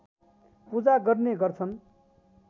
पूजा गर्ने गर्छन्